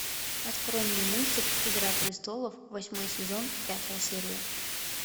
открой мне мультик игра престолов восьмой сезон пятая серия